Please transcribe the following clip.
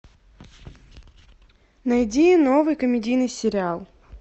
найди новый комедийный сериал